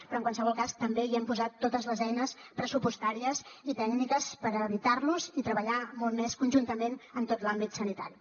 però en qualsevol cas també hi hem posat totes les eines pressupostàries i tècniques per evitar los i treballar molt més conjuntament en tot l’àmbit sanitari